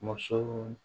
Musow